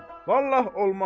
Vallah olmaz.